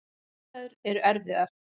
Aðstæður eru erfiðar.